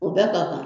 O bɛɛ ka kan